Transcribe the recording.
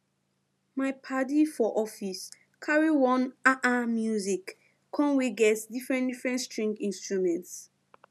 my padi for office carry one um music come wey get different different string instruments